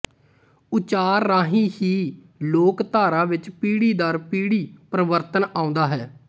ਉਚਾਰ ਰਾਹੀਂ ਹੀ ਲੋਕਧਾਰਾ ਵਿੱਚ ਪੀੜ੍ਹੀ ਦਰ ਪੀੜ੍ਹੀ ਪਰਿਵਰਤਨ ਆਉਂਦਾ ਹੈ